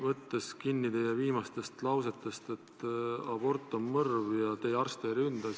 Võtan kinni teie viimastest lausetest, et abort on mõrv ja teie arste ei ründa.